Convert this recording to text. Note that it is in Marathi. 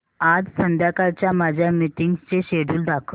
आज संध्याकाळच्या माझ्या मीटिंग्सचे शेड्यूल दाखव